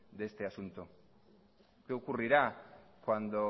de este asunto qué ocurrirá cuando